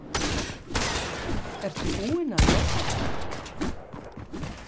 Ertu búin að lesa það?